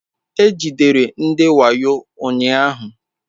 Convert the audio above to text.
E jidere ndị wayo ụnyahụ.